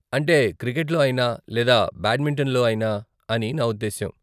అంటే, క్రికెట్లో అయినా లేదా బ్యాడ్మింటన్లో అయినా అని నా ఉద్దేశ్యం .